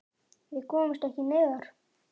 Við komumst ekki neðar.